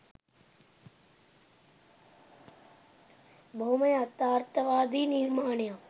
බොහොම යථාර්තවාදි නිර්මාණයක්